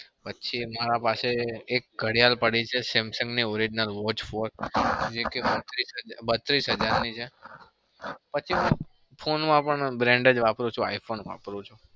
પછી મારા પાસે એક ઘડિયાળ પડી છે samsung ની. orignal watch four એ કે બત્રીસ હજારની છે. પછી હું phone માં પણ brand પણ iphone વાપરું છું.